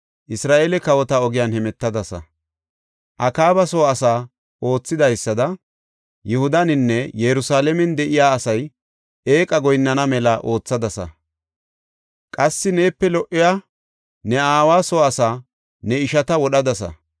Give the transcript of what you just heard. Isra7eele kawota ogiyan hemetadasa. Akaaba soo asay oothidaysada Yihudaninne Yerusalaamen de7iya asay eeqa goyinnana mela oothadasa. Qassi neepe lo77iya, ne aawa soo asaa, ne ishata wodhadasa.